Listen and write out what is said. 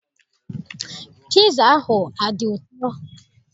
Piza ahụ adị ụtọ?